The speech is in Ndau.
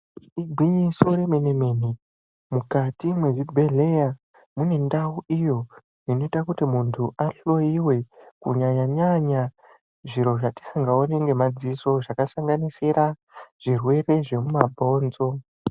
Igwinyiso remene-mene, mukati mwezvibhedhleya, mune ndau iyo inoita kuti muntu ahloyiwe kunyanya-nyanya zviro zvatisingaoni ngemaziso zvakasanganisira zvirwere zvemumabhonzo.